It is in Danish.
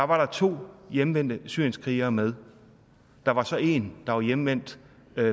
var to hjemvendte syrienskrigere med der var så en der var hjemvendt